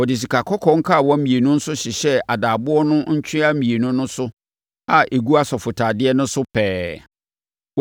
Wɔde sikakɔkɔɔ nkawa mmienu nso hyehyɛɛ adaaboɔ no ntwea mmienu no so a ɛgu asɔfotadeɛ no so pɛɛ.